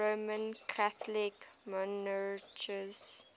roman catholic monarchs